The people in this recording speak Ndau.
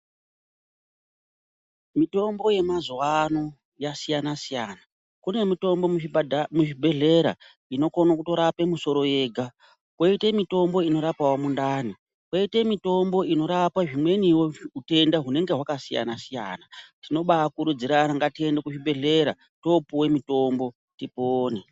Mitombo yemazuwano yasiyana siyana kune mutombo muzvibhadha muzvibhehlera inokone kutorape musoro ega koite mitombo inorapawo mundani koite mutombo inorape zvimweniwo utenda hunenge hwaka zvakasiyana siyana tinobakurudzirana ngatiende kuzvibhehlera.